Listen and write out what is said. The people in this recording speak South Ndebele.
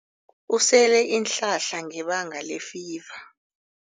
Usele iinhlahla ngebanga lefiva.